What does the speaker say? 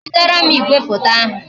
Wetara m igwefoto ahụ